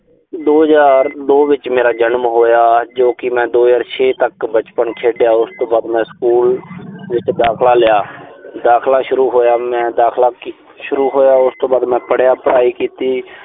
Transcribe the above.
ਦੋ ਹਜ਼ਾਰ ਦੋ ਵਿੱਚ ਮੇਰਾ ਜਨਮ ਹੋਇਆ ਜੋ ਕਿ ਮੈਂ ਦੋ ਹਜ਼ਾਰ ਛੇ ਤੱਕ ਬਚਪਨ ਖੇਡਿਆ। ਉਸ ਤੋਂ ਬਾਅਦ ਮੈਂ ਸਕੂਲ ਵਿੱਚ ਦਾਖਲਾ ਲਿਆ। ਦਾਖਲਾ ਸ਼ੁਰੂ ਹੋਇਆ, ਮੈਂ ਦਾਖਲਾ ਅਹ ਸ਼ੁਰੂ ਹੋਇਆ, ਉਸ ਤੋਂ ਬਾਅਦ ਮੈਂ ਪੜਿਆ ਪੜਾਈ ਕੀਤੀ